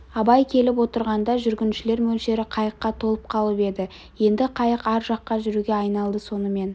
абай келіп отырғанда жүргіншілер мөлшері қайыққа толып қалып еді енді қайық ар жаққа жүруге айналды сонымен